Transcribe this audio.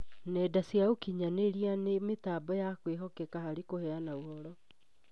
nenda cia ũkinyanĩria nĩ mĩtambo ya kwĩhokeka harĩ kũheana ũhoro